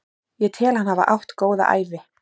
Ég tel hann hafa átt góða ævi.